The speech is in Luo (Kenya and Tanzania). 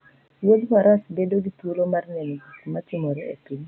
Wuoth faras bedo gi thuolo mar neno gik ma timore e piny.